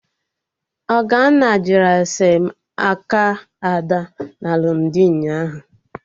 Ogonne jụrụ ese aka Amala na alụmdi ụnyaahụ